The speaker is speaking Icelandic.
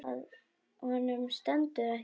Honum stendur ekki á sama.